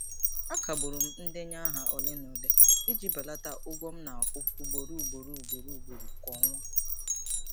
A kagbụrụ m ndenye aha ole na ole iji belata ụgwọ m na-akwụ ugboro ugboro ugboro ugboro kwa ọnwa.